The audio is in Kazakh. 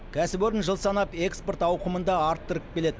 кәсіпорын жыл санап экспорт ауқымын да арттырып келеді